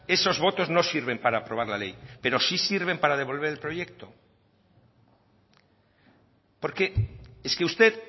esos votos no sirven para aprobar la ley pero sí sirven para devolver el proyecto porque es que usted